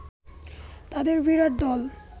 তাদের বিরাট দল